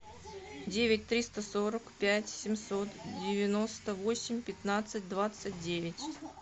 девять триста сорок пять семьсот девяносто восемь пятнадцать двадцать девять